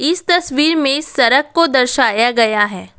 इस तस्वीर में सड़क को दर्शाया गया है।